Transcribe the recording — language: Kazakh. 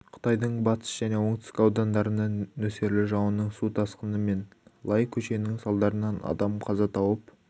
қытайдың батыс және оңтүстік аудандарында нөсерлі жауынның су тасқыны мен лай көшкінінің салдарынан адам қаза тауып